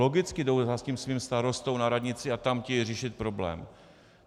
Logicky jdou za svým starostou na radnici a tam chtějí řešit problém.